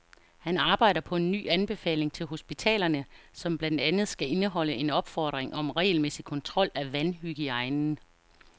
Han arbejder på en ny anbefaling til hospitalerne, som blandt andet skal indeholde en opfordring om regelmæssig kontrol af vandhygiejnen.